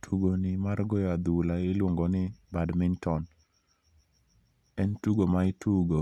Tugo ni mar goyo adhula iluongo ni badminton. En tugo ma itugo